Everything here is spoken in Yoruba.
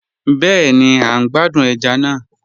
Bẹẹni, à n gbàdún ẹ̀já náà.